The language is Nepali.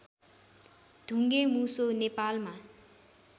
ढुङ्गे मुसो नेपालमा